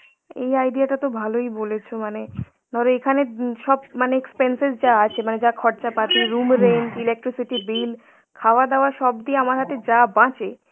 এই idea টা তো ভালই বলেছ মানে, ধরো এখানে উম সব মানে expenses যা আছে মানে যা খরচা পাতি room rent, electricity bill খাওয়া-দাওয়া সব দিয়ে আমার হাতে যা বাঁচে